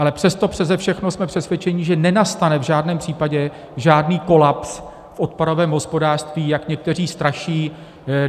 Ale přesto přese všechno jsme přesvědčeni, že nenastane v žádném případě žádný kolaps v odpadovém hospodářství, jak někteří straší.